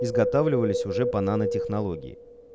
изготавливались уже по нанотехнологии